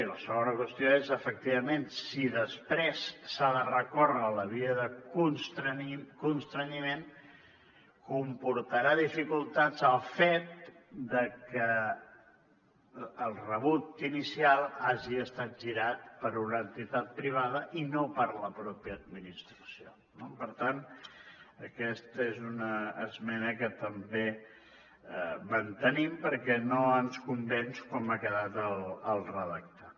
i la segona qüestió és efectivament si després s’ha de recórrer a la via de constrenyiment comportarà dificultats el fet de que el rebut inicial hagi estat girat per una entitat privada i no per la mateixa administració no per tant aquesta és una esmena que també mantenim perquè no ens convenç com ha quedat el redactat